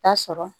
Ta sɔrɔ